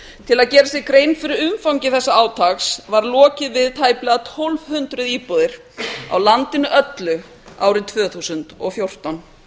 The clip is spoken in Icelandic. til að gera sér grein fyrir umfangi þessa átaks var lokið við tæplega tólf hundruð íbúðir á landinu öllu árið tvö þúsund og fjórtán